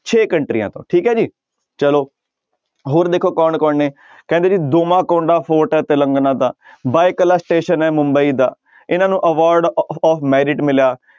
ਛੇ ਕੰਟਰੀਆਂ ਤੋਂ ਠੀਕ ਹੈ ਜੀ ਚਲੋ ਹੋਰ ਦੇਖੋ ਕੌਣ ਕੌਣ ਨੇ ਕਹਿੰਦੇ ਜੀ ਕੋਂਡਾ ਫੋਰਟ ਹੈ ਤਿਲੰਗਨਾ ਦਾ ਹੈ ਮੁੰਬਈ ਦਾ ਇਹਨਾਂ ਨੂੰ award ਅ~ of ਮਿਲਿਆ